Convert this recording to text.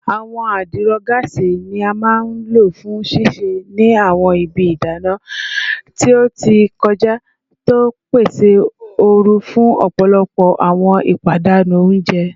Awọn adiro gaasi ni a maa n lo fun sise ni awọn ibi idana ti o ti kọja, ti o pese ooru fun ọpọlọpọ awọn ipadanu ounjẹ